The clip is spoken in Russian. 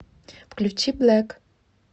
включи блэк